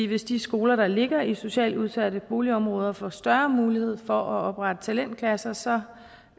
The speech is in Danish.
hvis de skoler der ligger i socialt udsatte boligområder får større mulighed for at oprette talentklasser så